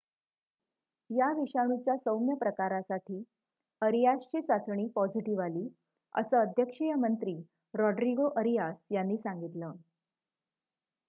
या विषाणूच्या सौम्य प्रकारासाठी अरियासची चाचणी पॉझिटिव्ह आली असं अध्यक्षीय मंत्री रोड्रीगो अरियास यांनी सांगितलं